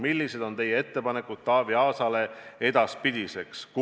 Millised on teie ettepanekud Taavi Aasale edaspidiseks?